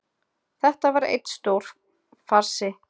Þetta var einn stór farsi